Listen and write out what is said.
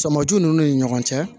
Sɔmɔju nunnu ni ɲɔgɔn cɛ